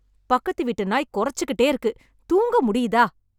பக்கத்து வீட்டு நாய் கொரச்சு கிட்டே இருக்கு. தூங்க முடியுதா?